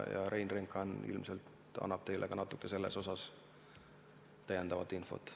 Rein Drenkhan ilmselt annab teile natukene rohkem infot selle kohta.